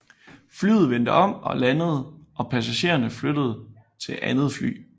Flyet vendte om og landede og passagererne flyttet til andet fly